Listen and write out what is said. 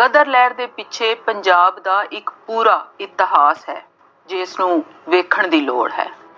ਗਦਰ ਲਹਿਰ ਦੇ ਪਿੱਛੇ ਪੰਜਾਬ ਦਾ ਇੱਕ ਪੂਰਾ ਇਤਿਹਾਸ ਹੈ। ਜਿਸਨੂੰ ਵੇਖਣ ਦੀ ਲੋੜ ਹੈ।